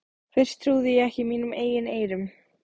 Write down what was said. Fyrst trúði ég ekki mínum eigin eyrum.